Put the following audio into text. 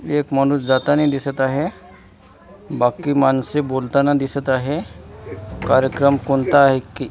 एक माणूस जातानी दिसत आहे बाकी माणसे बोलताना दिसत आहे कार्यक्रम कोणता आहे? की --